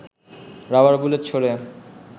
rubber bullet ছোড়ে